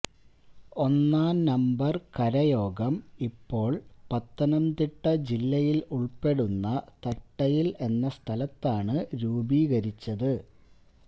ഒന്നാം നമ്പർ കരയോഗം ഇപ്പോൾ പത്തനംതിട്ട ജില്ലയിൽ ഉൾപ്പെടുന്ന തട്ടയിൽ എന്ന സ്ഥലതാണ് രൂപീകരിച്ചത്